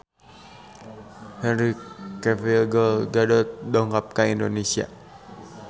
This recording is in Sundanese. Henry Cavill Gal Gadot dongkap ka Indonesia